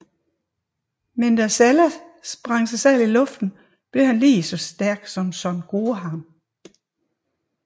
Men da Celle sprang sig selv i luften blev han lige så stærk som Son Gohan